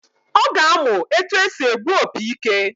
Ọ ga-amụ etu esi egbu opi ike